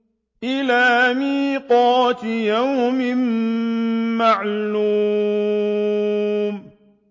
لَمَجْمُوعُونَ إِلَىٰ مِيقَاتِ يَوْمٍ مَّعْلُومٍ